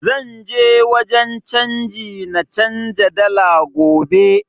Zan je wajen canji na canza dala gobe